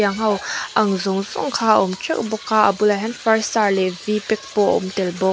ang ho ang zawng zawng kha a awm teuh bawk a a bulah hian far star leh v pack pawh a awm tel bawk.